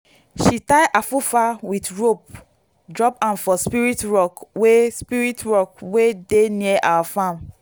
she tie afufa with rope drop am for spirit rock wey spirit rock wey dey near our farm.